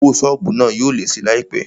Owó sọ́ọ̀bù náà yóò lé síi láìpé